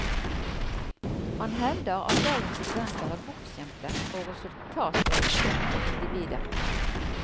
Han hevder at dagens studenter er bortskjemte og resultatorienterte individer.